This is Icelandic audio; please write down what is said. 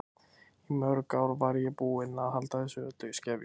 Í mörg ár var ég búin að halda þessu öllu í skefjum.